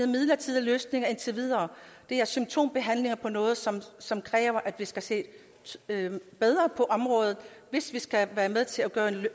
midlertidige løsninger det er symptombehandling af noget som som kræver at vi skal se bedre på området hvis vi skal være med til